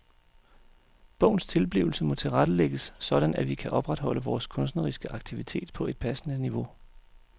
Bogens tilblivelse må tilrettelægges sådan at vi kan opretholde vores kunstneriske aktivitet på et passende niveau.